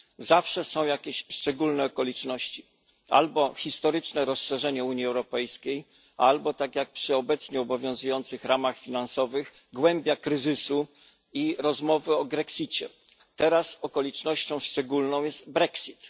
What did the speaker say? Zawsze są jakieś szczególne okoliczności albo historyczne rozszerzenie Unii Europejskiej, albo tak jak przy obecnie obowiązujących ramach finansowych głębia kryzysu i rozmowy o grexicie. Teraz okolicznością szczególną jest brexit.